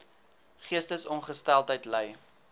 geestesongesteldheid ly